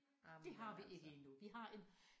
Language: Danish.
Det har vi ikke endnu vi har en